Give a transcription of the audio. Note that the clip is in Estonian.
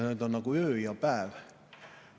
Need on nagu öö ja päev.